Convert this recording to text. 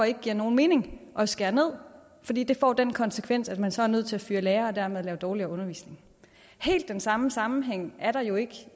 ikke giver nogen mening at skære ned fordi det får den konsekvens at man så er nødt til at fyre lærere og dermed lave dårligere undervisning helt den samme sammenhæng er der jo ikke